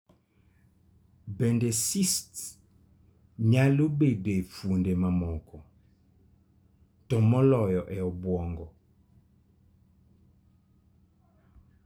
Bende cysts nyalo bedo e fuonde mamoko, to moloyo e obwongo.